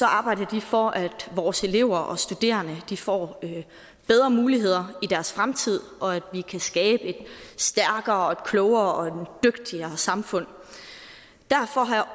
arbejder de for at vores elever og studerende får bedre muligheder i deres fremtid og for at vi kan skabe et stærkere klogere og dygtigere samfund derfor